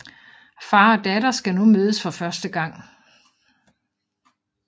Far og datter skal nu mødes for første gang